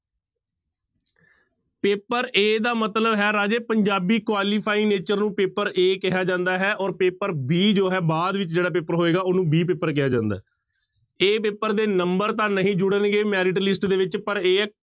paper a ਦਾ ਮਤਲਬ ਹੈ ਰਾਜੇ ਪੰਜਾਬੀ qualify nature ਨੂੰ ਪੇਪਰ a ਕਿਹਾ ਜਾਂਦਾ ਹੈ ਔਰ ਪੇਪਰ b ਜੋ ਹੈ ਬਾਅਦ ਵਿੱਚ ਜਿਹੜਾ ਪੇਪਰ ਹੋਏਗਾ ਉਹਨੂੰ b ਪੇਪਰ ਕਿਹਾ ਜਾਂਦਾ ਹੈ a ਪੇਪਰ ਦੇ number ਤਾਂ ਨਹੀਂ ਜੁੜਨਗੇ merit list ਦੇ ਵਿੱਚ ਪਰ a